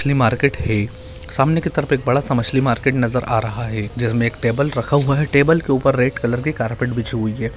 ये मार्केट है | सामने की तरफ एक बड़ा सा मछली मार्केट नजर आ रहा है जिसमे एक टेबल रखा हुआ है | टेबल के ऊपर रेड कलर की कार्पेट बिछी हुई है |